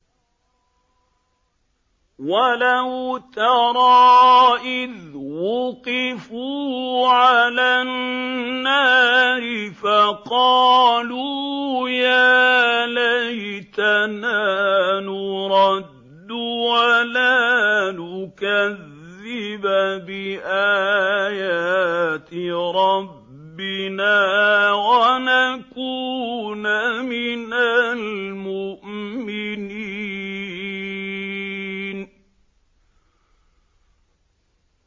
وَلَوْ تَرَىٰ إِذْ وُقِفُوا عَلَى النَّارِ فَقَالُوا يَا لَيْتَنَا نُرَدُّ وَلَا نُكَذِّبَ بِآيَاتِ رَبِّنَا وَنَكُونَ مِنَ الْمُؤْمِنِينَ